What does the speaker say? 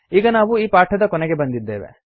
ಈಗ ನಾವು ಈ ಪಾಠದ ಕೊನೆಗೆ ಬಂದಿದ್ದೇವೆ